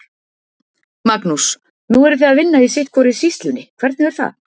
Magnús: Nú eruð þið að vinna í sitthvorri sýslunni, hvernig er það?